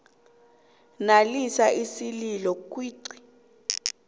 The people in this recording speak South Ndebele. nalisa isililo kuicd